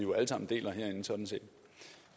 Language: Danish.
sådan set